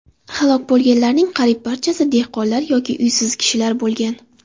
Halok bo‘lganlarning qariyb barchasi dehqonlar yoki uysiz kishilar bo‘lgan.